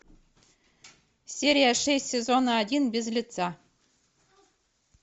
серия шесть сезона один без лица